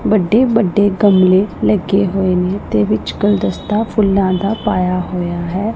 ਵੱਡੇ-ਵੱਡੇ ਗਮਲੇ ਲੱਗੇ ਹੋਏ ਨੇ ਇਹਦੇ ਵਿੱਚ ਗੁਲਦਸਤਾ ਫੁੱਲਾਂ ਦਾ ਪਾਇਆ ਹੋਇਆ ਹੈ।